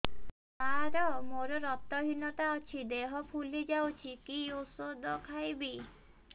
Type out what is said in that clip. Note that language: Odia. ସାର ମୋର ରକ୍ତ ହିନତା ଅଛି ଦେହ ଫୁଲି ଯାଉଛି କି ଓଷଦ ଖାଇବି